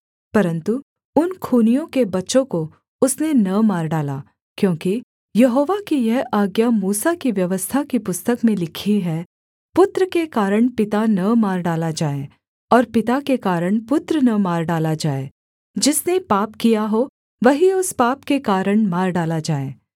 परन्तु उन खूनियों के बच्चों को उसने न मार डाला क्योंकि यहोवा की यह आज्ञा मूसा की व्यवस्था की पुस्तक में लिखी है पुत्र के कारण पिता न मार डाला जाए और पिता के कारण पुत्र न मार डाला जाए जिसने पाप किया हो वही उस पाप के कारण मार डाला जाए